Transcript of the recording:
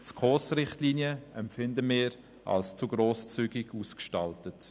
Die SKOS-Richtlinien empfinden wir als zu grosszügig ausgestaltet.